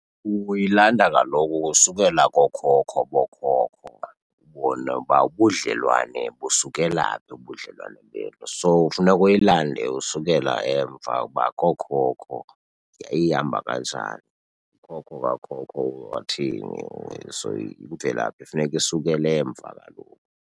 Uyilanda kaloku ukusukela kookhokho bookhokho. Ubone uba ubudlelwane busukela phi, ubudlelwane benu. So kufuneka uyilande usukela emva uba kookhokho yayihamba kanjani, ookhokho bakho wathini . So imvelaphi kufuneka isukele emva kaloku.